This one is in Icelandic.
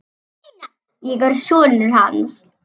Einar, ég er sonur. hans.